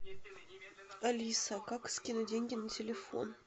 алиса как скинуть деньги на телефон